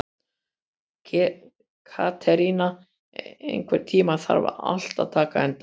Katerína, einhvern tímann þarf allt að taka enda.